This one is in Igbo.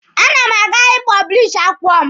A na m aga ị pọblishi akwụkwọ m.